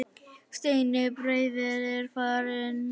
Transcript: Steini bróðir er farinn.